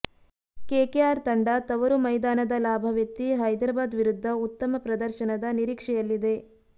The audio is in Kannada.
ಕೆಕೆಆರ್ ತಂಡ ತವರು ಮೈದಾನದ ಲಾಭವೆತ್ತಿ ಹೈದರಾಬಾದ್ ವಿರುದ್ಧ ಉತ್ತಮ ಪ್ರದರ್ಶನದ ನಿರೀಕ್ಷೆಯಲ್ಲಿದೆ